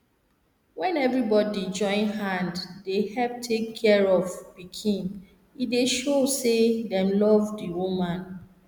when everybody join hand dey help take care pikin e dey show say dem love the woman